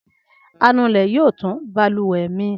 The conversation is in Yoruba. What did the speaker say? Anulẹ̀ yóò tún balùwẹ̀ mi ṣe.